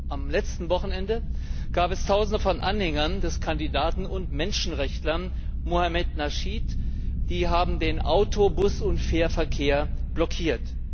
Am letzten Wochenende haben Tausende von Anhängern des Kandidaten und Menschenrechtlers Mohamed Nasheed den Auto Bus und Fährverkehr blockiert.